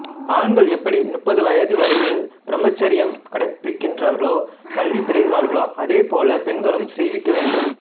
ஆண்கள் எப்படி முப்பது வயது வரையில் பிரம்மச்சரியம் கடைப்பிடிக்கிறார்களோ கல்வி பெறுகிறார்களோ அதேபோல் பெண்களுக்கும் செய்விக்க வேண்டும்